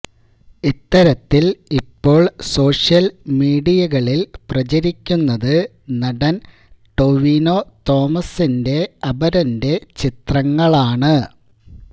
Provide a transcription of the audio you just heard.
ഇത്തരത്തില് ഇപ്പോള് സോഷ്യല് മീഡിയകളില് പ്രചരിക്കുന്നത് നടന് ടൊവിനോ തോമസിന്റെ അപരന്റെ ചിത്രങ്ങളാണ്